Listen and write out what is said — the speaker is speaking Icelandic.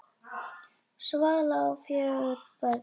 Svala á fjögur börn.